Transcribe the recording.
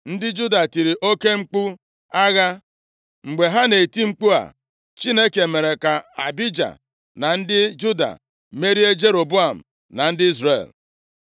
Ndị Juda tiri oke mkpu agha. Mgbe ha na-eti mkpu a, Chineke mere ka Abija na ndị Juda merie Jeroboam na ndị Izrel.